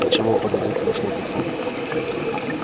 ты чего подозрительно смотрит он